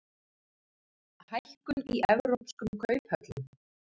Hækkun í evrópskum kauphöllum